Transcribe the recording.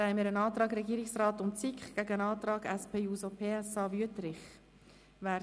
Hier liegt ein Antrag Regierungsrat/SiK gegen einen Antrag SP-JUSOPSA/Wüthrich vor.